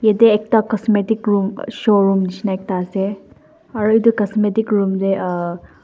yete ekta cosmetic room showroom nishina ekta ase aro etu cosmetic room te uumh--